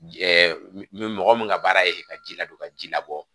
mɔgɔ min ka baara ye ka ji ladon ka ji labɔ